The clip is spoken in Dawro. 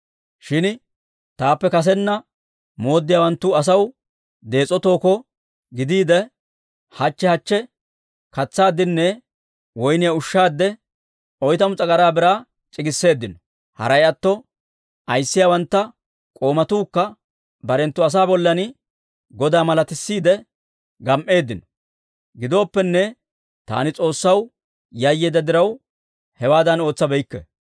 Shin taappe kasena mooddiyaawanttu asaw dees'o tookko gidiide, hachche hachche katsawunne woyniyaa ushshaw oytamu s'agaraa biraa c'iggisseeddino. Haray atto ayissiyawanttu k'oomatuukka barenttu asaa bollan godaa malatissiidde gam"eeddino. Gidooppenne, taani S'oossaw yayyeedda diraw, hewaadan ootsabeykke.